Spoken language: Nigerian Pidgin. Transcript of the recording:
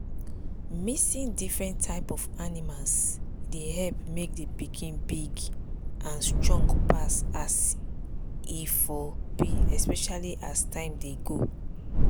mixing different type of animals dey help make the pikin big and strong pass as e for be especially as time dey go.